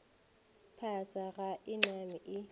phasa ga e name e